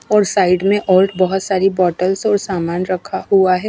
और साइड में और बहोत सारी बॉटल्स और सामान रखा हुआ है।